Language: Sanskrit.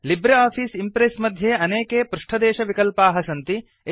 लिब्रे आफ़ीस् इम्प्रेस् मध्ये अनेके पृष्ठदेशविकल्पाः सन्ति